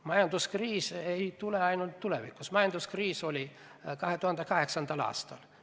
Majanduskriisid ei ole ainult tulevikus, majanduskriis oli ka 2008. aastal.